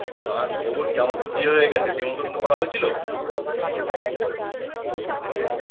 আর খবর কি আমার তো বিয়ে হয়ে গেছে নেমতন্ন তো করা হয়েছিল?